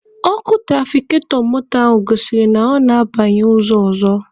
Ọkụ tụrafikatọ moto a gosiri na ọ na-abanye ụzọ ọzọ.